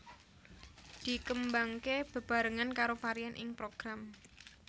Dikembangake bebarengan karo varian ing Program